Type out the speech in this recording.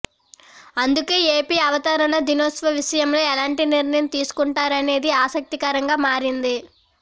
అందుకే ఏపి అవతరణ దినోత్సవ విషయంలో ఎలాంటి నిర్ణయం తీసుకుంటారనేది ఆసక్తికరంగా మారింది